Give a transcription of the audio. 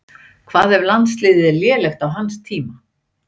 Hvað ef landsliðið er lélegt á hans tíma?